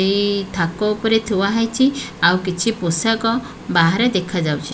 ଏଇ ଥାକ ଉପରେ ଥୁଆ ହେଇଛି ଆଉ କିଛି ପୋଷାକ ବାହାରେ ଦେଖାଯାଉଛି ।